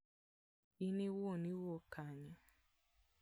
In iwuon iwuok kanye?